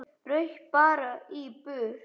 Rauk bara í burtu.